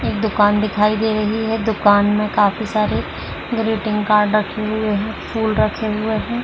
एक दुकान दिखाई दे रही है। दुकान में काफी सारे ग्रीटिंग कार्ड रखे हुए हैं। फूल रखे हुए हैं।